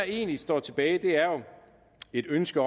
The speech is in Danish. egentlig står tilbage er jo et ønske